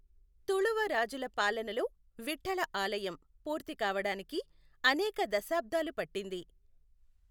తుళువ రాజుల పాలనలో విఠ్ఠల ఆలయం పూర్తి కావడానికి అనేక దశాబ్దాలు పట్టింది.